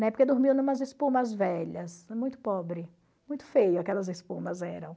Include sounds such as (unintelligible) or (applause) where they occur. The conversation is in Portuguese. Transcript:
(unintelligible) dormiam numas espumas velhas, muito pobre, muito feio aquelas espumas eram.